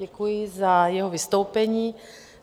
Děkuji za jeho vystoupení.